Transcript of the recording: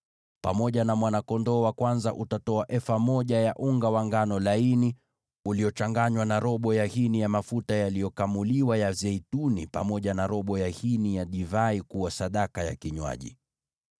Pamoja na mwana-kondoo wa kwanza utatoa efa moja ya unga wa ngano laini uliochanganywa na robo ya hini ya mafuta yaliyokamuliwa, pamoja na robo ya hini ya divai kuwa sadaka ya kinywaji.